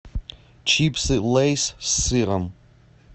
чипсы лейс с сыром